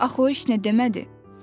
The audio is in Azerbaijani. Axı o iş nə demədi?